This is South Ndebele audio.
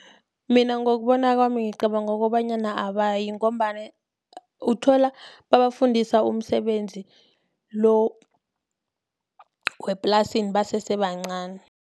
Mina ngokubona kwami ngicabanga kobanyana abayi, ngombana uthola babafundisa umsebenzi lo weplasini basese bancani.